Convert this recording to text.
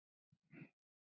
Að lifa bara í núinu!